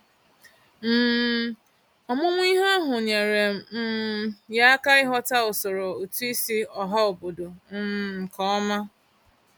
um Ọmụmụ ihe ahụ nyeere um ya aka ịghọta usoro ụtụisi ọhaobodo um nkeọma.